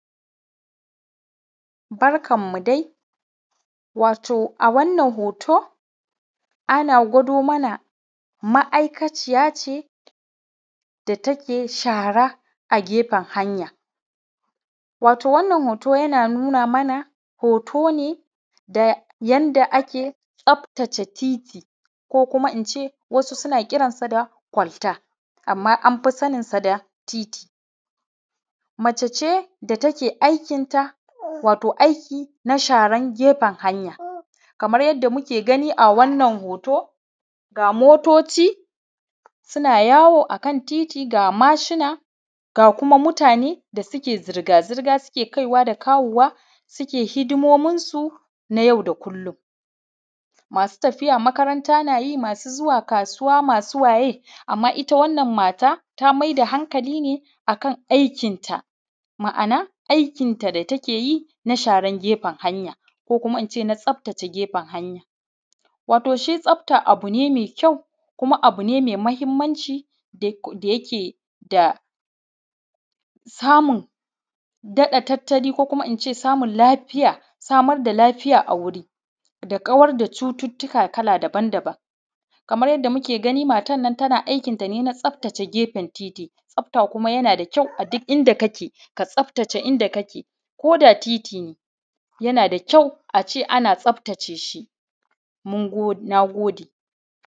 Barkanmu dai, wato a wannan hoto ana gwado mana ma’aikaciya ce da take shara a gefen hanya, wato wannan hoto yana nuna mana hoto ne da yadda ake tsaftace titi ko kuma ince wasu suna kiranta da kwalta amma amfi saninsa da titi, mace ce da take aikinta wato aiki na sharan gefen hanya kamar yadda muke gani a wannan hoto, ga motoci suna yawo a kan titi ga machine, ga kuma mutane da suke zirga-zirga suke kai da kawo wa, suke hiɗimomin su na yau da kullum, masu tafiya makaranta na yi, masu zuwa kasuwa masu waye amma ita wannan mata ta mai da hankali ne akan aikinta, ma’ana aikinta da take yin a sharan gefen hanya ko kuma ince na tsaftace gefen hanya, wato shi tsafta abu ne mai kyau kuma abu ne mai muhimmanci da yake da samun ɗata tattali ko ince samun lafiya samar da lafiya a wuri da kawar da cututtuka kala daban-daban, kamar yadda muke gani matar nan tana aikin ta ne na tsaftace gefen titi, tsafta kuma yana da kyau a duk inda kake, ka tsaftace inda kake ko da titi ne yana da kyau ace ana tsaftace shi, mun gode.